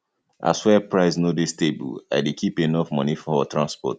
as fuel price no dey stable i dey keep enough moni for transport